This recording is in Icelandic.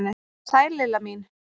Sæl Lilla mín!